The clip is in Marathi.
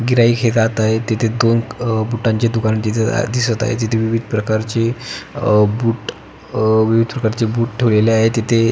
गिराईक हे जात आहे तिथे दोन अह बूटांचे दुकान दिसत दिसत आहे तिथे विविध प्रकारची अह बूट विविध प्रकारचे बूट ठेवलेले आहे तिथे --